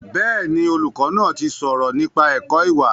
Bẹ́ẹ̀ni, olùkọ́ náà ti sọ̀rọ̀ nípa ẹ̀kọ́ ìwà